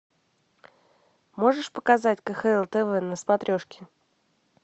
можешь показать кхл тв на смотрешке